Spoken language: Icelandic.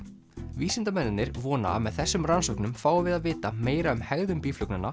vísindamennirnir vona að með þessum rannsóknum fáum við að vita meira um hegðun